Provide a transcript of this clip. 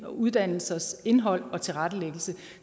uddannelsers indhold og tilrettelæggelse